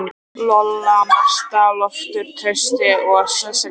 Lolla, Marta, Loftur, Trausti og Sesselía.